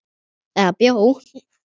Eða bjó.